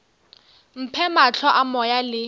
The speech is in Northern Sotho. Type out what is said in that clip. mphe mahlo a moya le